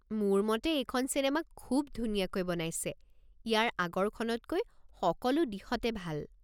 মোৰ মতে এইখন চিনেমা খুব ধুনীয়াকৈ বনাইছে, ইয়াৰ আগৰখনতকৈ সকলো দিশতে ভাল।